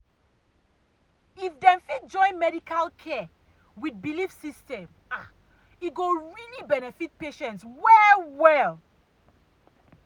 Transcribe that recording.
if dem fit join medical care with belief ah system e go really benefit patients well well.